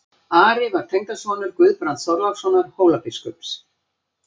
Ari var tengdasonur Guðbrands Þorlákssonar Hólabiskups.